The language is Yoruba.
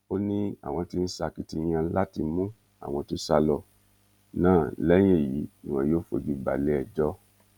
ó ní àwọn tí ń ṣakitiyan láti mú àwọn tó sá lọ náà lẹyìn èyí ni wọn yóò fojú balẹẹjọ